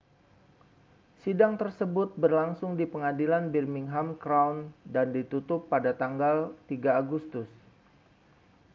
sidang tersebut berlangsung di pengadilan birmingham crown dan ditutup pada 3 agustus